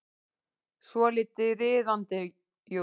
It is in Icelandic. Svolítið riðandi, jú.